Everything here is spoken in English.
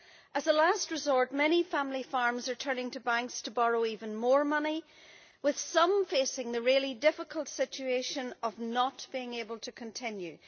As a last resort, many family farms are turning to banks to borrow even more money, with some facing the really difficult situation of not being able to continue.